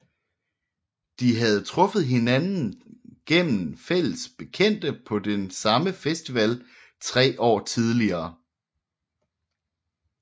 De havde truffet hinanden gennem fælles bekendte på den samme festival tre år tidligere